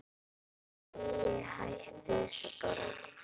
Æi, hættu þessu bara.